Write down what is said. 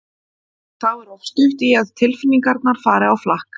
Og þá er oft stutt í að tilfinningarnar fari á flakk.